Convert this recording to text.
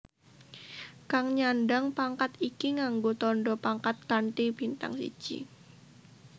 Kang nyandhang pangkat iki nganggo tandha pangkat kanthi bintang siji